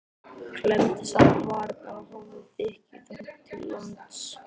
Klemmdi saman varirnar og horfði þykkjuþung til lands.